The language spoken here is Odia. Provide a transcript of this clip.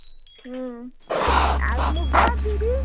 ହୁଁ ଆଉ ମୁଗ ବିରି